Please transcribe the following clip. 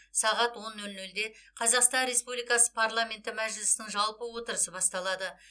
сағат он нөл нөлде қазақстан республикасы парламенті мәжілісінің жалпы отырысы басталады